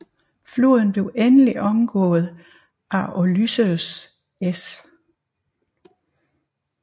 Floden blev endelig omgået af Ulysses S